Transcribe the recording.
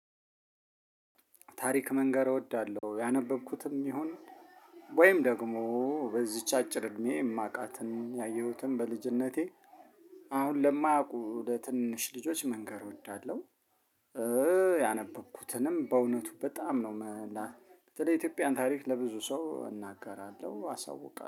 ታሪክ መንገር እወዳለሁ ያነበብኩትም ይሁን ወይም ደግሞ በዚች አጭር እድሜ የማቃትን ያየሁትን በልጅነቴ አሁን ለማያውቁ ለትንንሽ ልጆች መንገር እወዳለሁ። ያነበብኩትንም በእውነቱ በጣም ነው መላክ በተለይ የኢትዮጵያን ታሪክ ለብዙ ሰው እናገራለሁ አሳውቃለሁ